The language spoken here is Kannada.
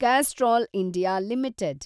Castrol India limited